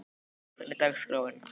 Gíslný, hvernig er dagskráin?